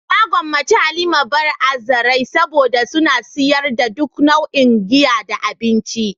Na gwammace "Halima bar" a zarai saboda suna sayar da duk nau'in giya da abinci.